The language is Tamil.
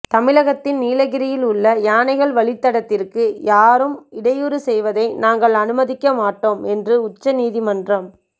தமிழகத்தின் நீலகிரியில் உள்ள யானைகள் வழித்தடத்திற்கு யாரும் இடையூறு செய்வதை நாங்கள் அனுமதிக்க மாட்டோம் என்று உச்சநீதிமன்றம்